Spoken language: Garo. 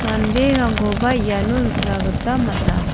anderangkoba iano nikna gita man·a.